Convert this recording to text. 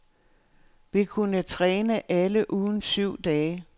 Vi kunne træne alle ugens syv dage.